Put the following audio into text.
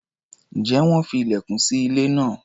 Ǹjẹ́ wọ́n fi ilẹ̀kùn sí ilé náà?